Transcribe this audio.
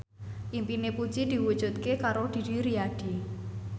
impine Puji diwujudke karo Didi Riyadi